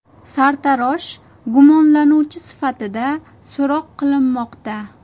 Sartarosh gumonlanuvchi sifatida so‘roq qilinmoqda.